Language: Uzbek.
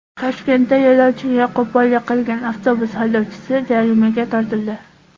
Toshkentda yo‘lovchiga qo‘pollik qilgan avtobus haydovchisi jarimaga tortildi.